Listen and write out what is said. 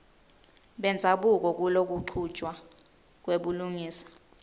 bendzabuko kulokuchutjwa kwebulungisa